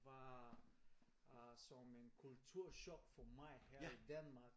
Var øh som en kulturchok for mig her i Danmark